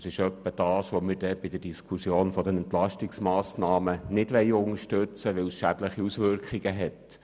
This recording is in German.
Das entspricht etwa dem, was wir bei der Diskussion der Entlastungsmassnahmen nicht unterstützen wollen, weil es schädliche Auswirkungen hat.